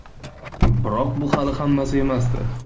Biroq bu hali hammasi emasdi.